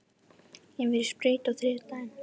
Ég fer í sprautu á þriðjudag.